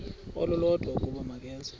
olulodwa ukuba makeze